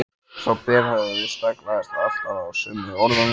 Sá berhöfðaði staglaðist alltaf á sömu orðunum